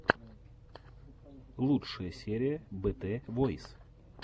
лучшая серия бэтэ войс